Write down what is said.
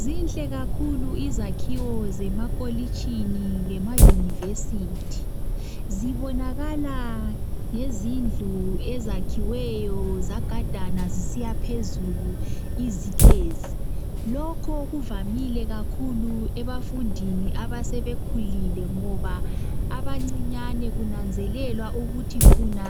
Zinhle kakhulu izakhiwo zemakolitshini lema university. Zibonakala ngezindlu ezakhiweyo zagadana zisiya phezulu izitezi. Lokhu kuvamile kakhulu ebafundini abasebekhulile ngoba abancinyane kunanzelelwa ukuthi funa